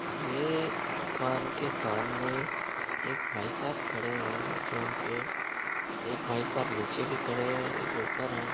यह दुकान के सामने एक भाई साहब खड़े है जहा पे एक भाई साहब नीचे भी खड़े है एक ऊपर है।